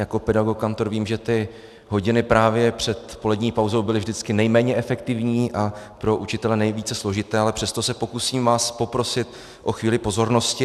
Jako pedagog, kantor, vím, že ty hodiny právě před polední pauzou byly vždycky nejméně efektivní a pro učitele nejvíce složité, ale přesto se pokusím vás poprosit o chvíli pozornosti.